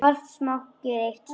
Margt smátt gerir eitt stórt.